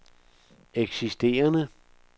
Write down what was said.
eksisterende